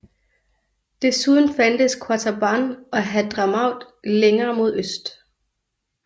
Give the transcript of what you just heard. Desuden fandtes Qataban og Hadhramaut længere mod øst